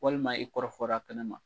Walima i kɔrɔfɔra kɛnɛ ma.